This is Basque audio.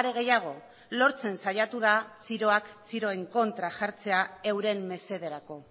are gehiago lortzen saiatu da txiroak txiroen kontra jartzea euren mesederako